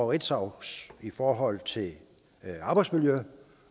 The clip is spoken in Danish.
ritzau i forhold til arbejdsmiljø